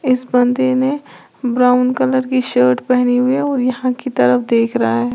इस बंदे ने ब्राउन कलर की शर्ट पहनी हुई है और यहां की तरफ देख रहा है।